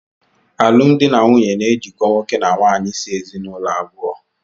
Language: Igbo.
Alụmdi na nwunye na ejikọ nwoke na nwaanyị si ezinụlọ abụọ.